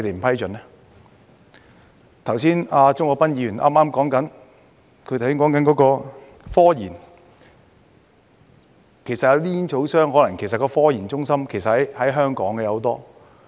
剛才鍾國斌議員提及科研，其實煙草商的那些科研中心有很多均可能設於香港。